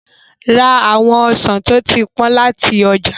Ra àwọn ọsàn tí ó ti pọ́n láti ọjà.